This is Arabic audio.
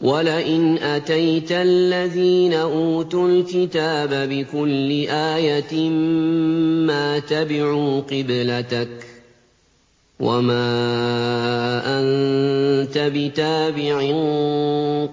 وَلَئِنْ أَتَيْتَ الَّذِينَ أُوتُوا الْكِتَابَ بِكُلِّ آيَةٍ مَّا تَبِعُوا قِبْلَتَكَ ۚ وَمَا أَنتَ بِتَابِعٍ